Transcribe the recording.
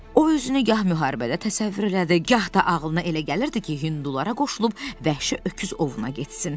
O özünü gah müharibədə təsəvvür elədi, gah da ağlına elə gəlirdi ki, Hindulara qoşulub vəhşi öküz ovuna getsin.